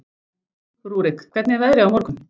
Rúrik, hvernig er veðrið á morgun?